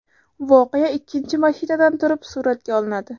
Voqea ikkinchi mashinadan turib suratga olinadi.